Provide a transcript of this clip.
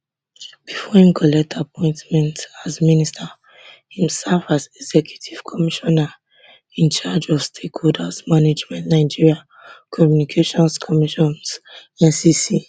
before im collect appointment as minister im serve as executive commissioner in charge of stakeholders management nigeria communications commission ncc